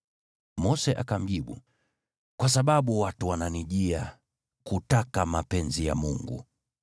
Mose akamjibu, “Kwa sababu watu wananijia kutaka mapenzi ya Mungu.